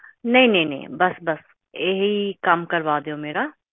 ਕਿ ਕੀ ਦਿੱਕਤ ਆ ਰਹੀ ਆ ਤੁਹਾਡੇ ਰਾਊਟਰ ਦੇ ਵਿੱਚ ਕੰਨੈਕਸ਼ਨ ਵਿੱਚ ਤੇ ਵਾਇਰ ਵਿੱਚ ਵੀ